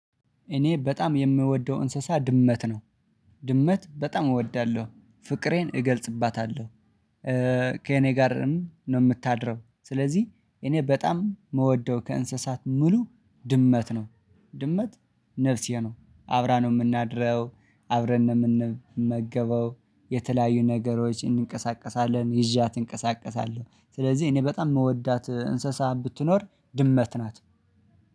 እኔ በጣም የምወደው እንስሳ ድመት ነው። ድመት በጣም እወዳለሁ ፍቅሬን እገልጽባታለሁ። ከእኔ ጋርም ነው የምታድረው ስለዚህ እኔ በጣም ምወደው ከእንስሳት ሙሉ ድመት ነው። ድመት ነፍሴ ነው አብራ ነው የምናድረው አብረን ነው ምንመገበው የተለያዩ ነገሮች እንንቀሳቀሳለን ይዣት እንቀሳቀሳለሁ ስለዚህ እኔ በጣም ምወዳት እንስሳ ብትኖር ድመት ናት።